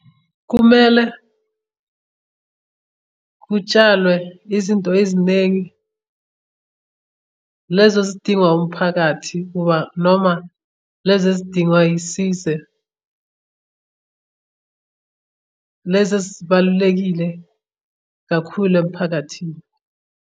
Kumele kutshalwe izinto eziningi lezo ezidingwa umphakathi ngoba, noma lezi ezidingwa isize. Lezi ezibalulekile kakhulu emphakathini.